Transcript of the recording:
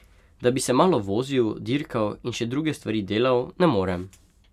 Da bi se malo vozil, dirkal in še druge stvari delal, ne morem.